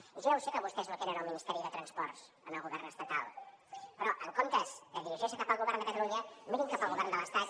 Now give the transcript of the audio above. i jo ja ho sé que vostès no tenen el ministeri de transports en el govern estatal però en comptes de dirigir se cap al govern de catalunya mirin cap al govern de l’estat